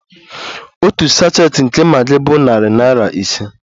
Otu sachet nke Maggi bụ narị naira ise